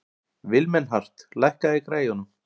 Vilmenhart, lækkaðu í græjunum.